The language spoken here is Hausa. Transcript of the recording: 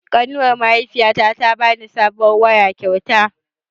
Ƙanuwar mahaifiyata ta bani sabuwar waya kyauta